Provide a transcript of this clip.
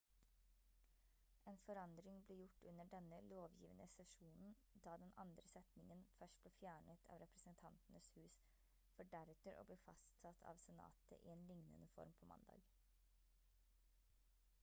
en forandring ble gjort under denne lovgivende sesjonen da den andre setningen først ble fjernet av representantenes hus for deretter å bli fastsatt av senatet i en lignende form på mandag